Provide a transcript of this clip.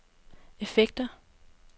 effekter